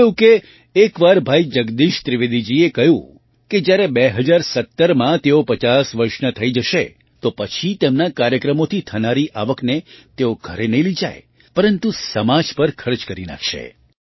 થયું એવું કે એક વાર ભાઈ જગદીશ ત્રિવેદીજીએ કહ્યું કે જ્યારે 2017માં તેઓ 50 વર્ષના થઈ જશે તો તે પછી તેમના કાર્યક્રમોથી થનારી આવકને તેઓ ઘરે નહીં લઈ જાય પરંતુ સમાજ પર ખર્ચ કરી નાખશે